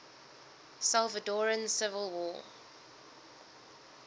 salvadoran civil war